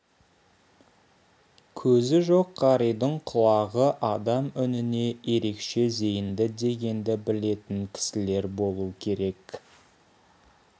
көзі жоқ қаридың құлағы адам үніне ерекше зейінді дегенді білетін кісілер болу керек